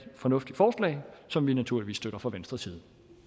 fornuftigt forslag som vi naturligvis støtter fra venstres